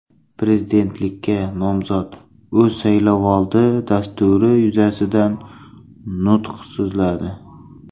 Prezidentlikka nomzod o‘z saylovoldi dasturi yuzasidan nutq so‘zladi.